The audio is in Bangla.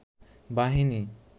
বাহিনী